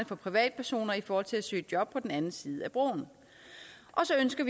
for privatpersoner i forhold til at søge job på den anden side af broen og så ønsker